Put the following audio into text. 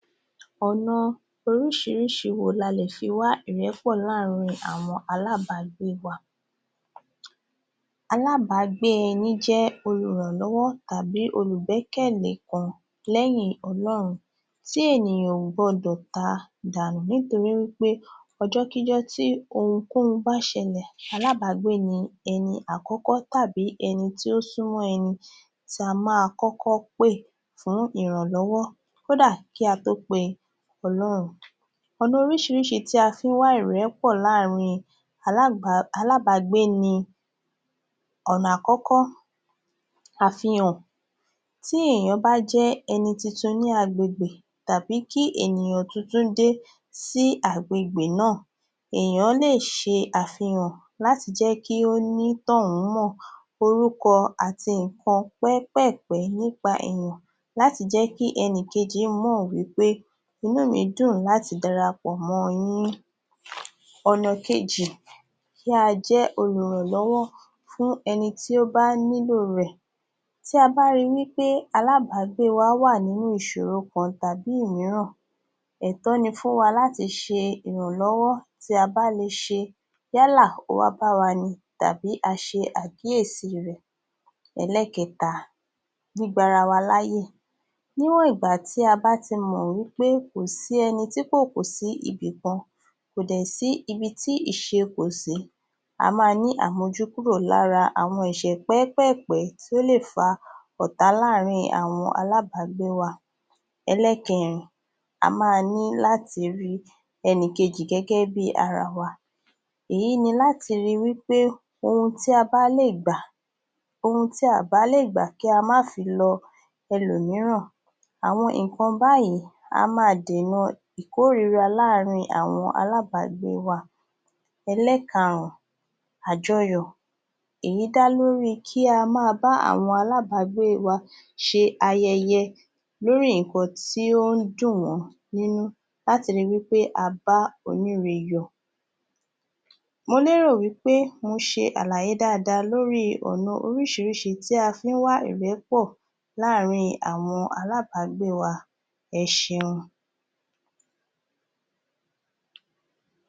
Ọ̀nà oríṣiríṣi wo ni a lè fi wá ìrẹ́pọ̀ láàrin àwọn alábágbé wa? Alábágbé ẹni jẹ́ olùrànlọ́wọ́ tàbí olùgbékẹ̀lé kan lẹ́yìn Ọlọ́run tí ènìyàn ò gbọ́dọ̀ ta dànù nítorí pé ọjọ́kíjọ́ tí ohunkohun bá ṣẹlẹ̀ alábágbé ni ẹni àkọ́kọ́ tàbí ẹni tí ó súnmọ́ ẹni tí a máa kọ́kọ́ pè fún ìrànlọ́wọ́. Kódà kí a tó pe..ọ̀nà oríṣiríṣi tí a fi ń wá ìrẹ́pọ láàrin alábágbé ni: Ọ̀nà àkọ́kọ́- tí èyàn bá jẹ́ ẹni tuntun ní agbègbè tàbí kí ènìyàn tuntun dé sí agbègbè náà èèyàn lè ṣe àfihàn láti jẹ́ kí onítọ̀ún mọ orúkọ àti ǹkan pẹ́pẹ̀ẹ̀pẹ́ nípa èyàn láti jẹ́ kí ẹnìkejì mọ̀ wí pé inú mi dùn láti dara pọ̀ mọ́-ọn yín. Ọ̀nà kejì- kí a jẹ́ olùrànlọ́wọ́ fún ẹni tí ó bá nílò rẹ̀ tí a bá ri wí pé alábágbé wa wà nínú ìṣòro kan tàbí òmíràn ẹ̀tọ́ ni fún wa láti ṣe ìrànlọ́wọ́ tí a bá lè ṣe yálà ó wá bá wa ni tàbí a ṣe àkíyèsí rẹ̀. Ẹlẹ́kẹta- gbígba ara wa láyè. Níwọ̀n ìgbà tí a bá ti mọ̀ wí pé kò sí ẹni tí kò kù sí ibì kan kò dẹ̀ sí ibi tí ìṣe kò sí a máa ní àmójúkúrò lára àwọn ẹ̀ṣẹ̀ pẹ́pẹ̀ẹ̀pẹ́ tó lè fa ọ̀tá láàrin àwọn alábágbé wa. Ẹlẹ́kẹrin- a máa ní láti rí ẹnìkejì gẹ́gẹ́ bí ara wa èyí ní láti rí wí pé ohun tí a bá lè gba..ohun tí à bá lè gbà kí a má fi lọ ẹlòmíràn. Àwọn ǹkan báyìí a máa dènà ìkóríra láàrin àwọn alábágbé wa. Ẹlẹ́karún- àjọyọ̀ èyí dá lórí i kí a ma bá àwọn alábágbé wa ṣe ayẹyẹ lórí ǹkan tí ó ń dùn wọ́n nínú láti ri wí pé a bá oníre yọ̀. Mo lérò wí pé mo ṣe àlàyé dáadáa lórí i ọ̀nà oríṣiríṣi tí a fi ń wá ìrẹ́pọ̀ láàrin àwọn alábágbé wa. Ẹ ṣeun.